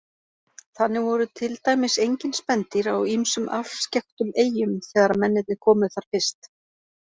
Þannig voru til dæmis engin spendýr á ýmsum afskekktum eyjum þegar mennirnir komu þar fyrst.